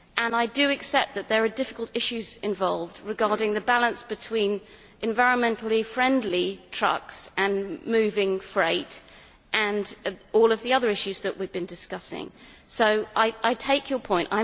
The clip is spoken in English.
I do accept that there are difficult issues involved regarding the balance between environmentally friendly trucks and moving freight, and all of the other issues that we have been discussing. So I take your point